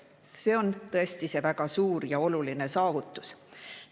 See on tõesti väga suur ja oluline saavutus.